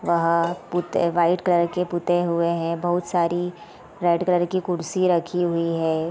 वहाँ पुते white colour के पुते हुए हैं बहुत सारी रेड कलर की कुर्सी रखी हुई है।